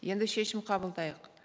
енді шешім қабылдайық